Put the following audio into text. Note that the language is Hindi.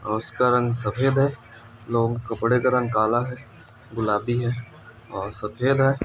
और उसका रंग सफेद है लोग कपड़े का रंग काला है गुलाबी है और सफेद है ।